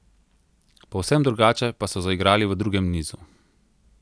Povsem drugače pa so zaigrali v drugem nizu.